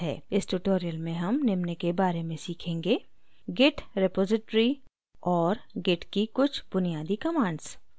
इस tutorial में हम निम्न के बारे में सीखेंगे: git repository और git की कुछ बुनियादी commands